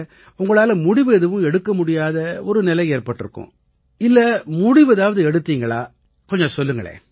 உங்களால முடிவு எதுவும் எடுக்க முடியாத நிலை ஏற்பட்டிருக்கும் இல்லை முடிவு எடுத்திருந்தா என்ன நடந்திச்சுன்னு கொஞ்சம் சொல்லுங்களேன்